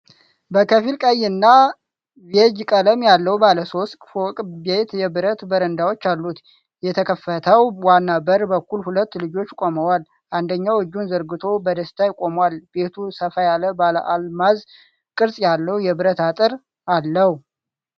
በከፊል ቀይ እና ቢዩጅ ቀለም ያለው ባለ ሶስት ፎቅ ቤት የብረት በረንዳዎች አሉት። የተከፈተው ዋና በር በኩል ሁለት ልጆች ቆመዋል። አንደኛው እጁን ዘርግቶ በደስታ ቆሟል። ቤቱ ሰፋ ያለ ባለአልማዝ ቅርጽ ያለው የብረት አጥር አለው።